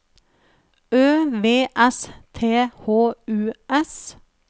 Ø V S T H U S